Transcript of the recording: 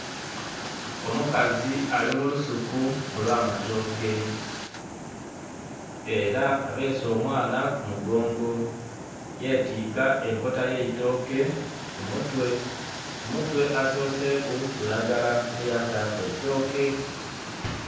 Omukazi ali mu lusuku olw'amatooke era abeese omwaana ku mugongo yetiika enkota y'eitooke ku mutwe. Ku mutwe asoseeku lulagala me yataaku eitooke.